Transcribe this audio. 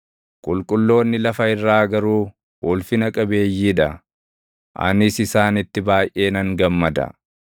Qulqulloonni lafa irraa garuu ulfina qabeeyyii dha; anis isaanitti baayʼee nan gammada.